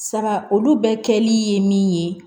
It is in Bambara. Saga olu bɛɛ kɛli ye min ye